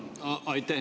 Aitäh!